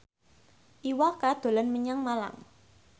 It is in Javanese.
Iwa K dolan menyang Malang